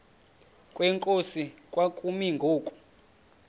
kwenkosi kwakumi ngoku